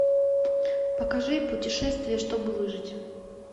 покажи путешествие чтобы выжить